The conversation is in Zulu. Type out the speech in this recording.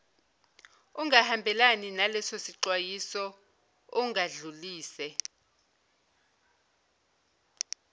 ungahambelani nalesisexwayiso ungadlulisela